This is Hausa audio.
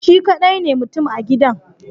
Shi kadai ne mutum a gidan